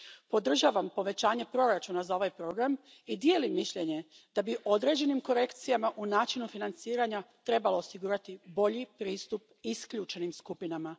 Podržavam povećanje proračuna za ovaj program i dijelim mišljenje da bi određenim korekcijama u načinu financiranja trebalo osigurati bolji pristup isključenim skupinama.